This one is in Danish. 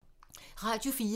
Radio 4